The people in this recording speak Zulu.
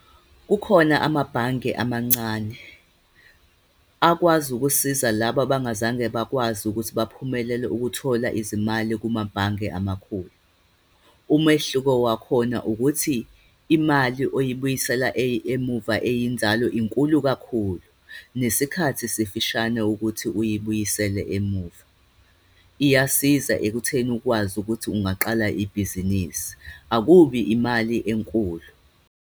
Kukhona amabhange amancane akwazi ukusiza laba abangazange bakwazi ukuthi baphumelele ukuthola izimali kumabhange amakhulu. Umehluko wakhona ukuthi imali oyibuyisela emuva, eyinzalo, inkulu kakhulu, nesikhathi sifishane ukuthi uyibuyisele emuva. Iyasiza ekutheni ukwazi ukuthi ungaqala ibhizinisi. Akubi imali enkulu.